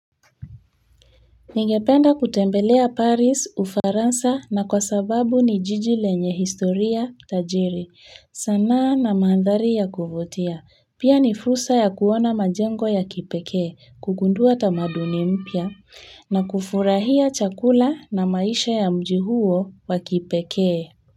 Ningependa kutembelea paris, Ufaransa na kwa sababu ni jiji lenye historia tajiri, sanaa na mandhari ya kuvutia pia ni fursa ya kuona majengo ya kipekee kugundua tamaduni mpya na kufurahia chakula na maisha ya mji huo wa kipekee.